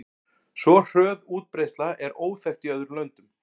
Svo hröð útbreiðsla er óþekkt í öðrum löndum.